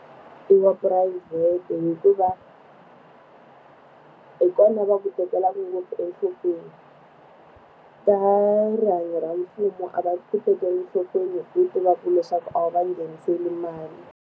I wa phurayivhete hikuva, hi kona va ku tekelaka ngopfu enhlokweni. Ta rihanyo ra mfumo a va tekeli enhlokweni hi ku tiva leswaku a wu va ngheniseli mali.